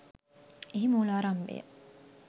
එහි මූලාරම්භය